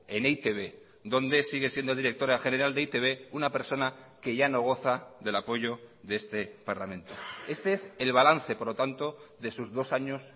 en e i te be donde sigue siendo directora general de e i te be una persona que ya no goza del apoyo de este parlamento este es el balance por lo tanto de sus dos años